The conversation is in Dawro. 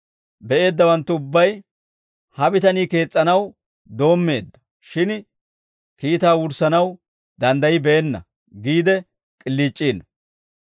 be'eeddawanttu ubbay, ‹Ha bitanii kees's'anaw doommeedda; shin kiitaa wurssanaw danddaybbeena› giide k'iliic'iino.